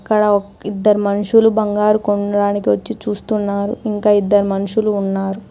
ఇక్కడ ఇద్దరు మనుషులు బంగారు కొనడానికి వచ్చి చూస్తున్నారు. ఇంక ఇద్దరు మనుషులు ఉన్నారు.